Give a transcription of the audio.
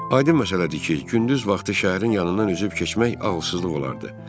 Aydın məsələdir ki, gündüz vaxtı şəhərin yanından üzüb keçmək ağılsızlıq olardı.